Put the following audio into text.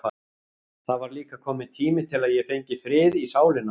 Það var líka kominn tími til að ég fengi frið í sálina.